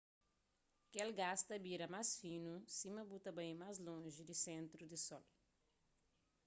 kel gás ta bira más finu sima bu ta bai más lonji di sentru di sol